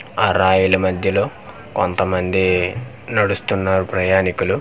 ఆ రాయల మధ్యలో కొంత మంది నడుస్తున్నారు ప్రయాణికులు.